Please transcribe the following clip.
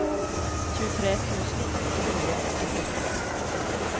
tjuetre tusen åtte hundre og førtiseks